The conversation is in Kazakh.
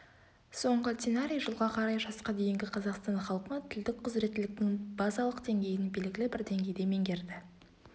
соңғы сценарий жылға қарай жасқа дейінгі қазақстан халқы тілдік қыұзыреттіліктің базалық деңгейін белгілі бір деңгейде меңгерді